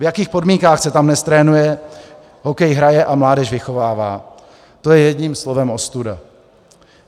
V jakých podmínkách se tam dnes trénuje, hokej hraje a mládež vychovává, to je jedním slovem ostuda.